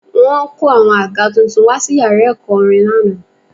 Wọ́n kó àwọn àga tuntun wá sí yàrá ẹ̀kọ́ orin lánàá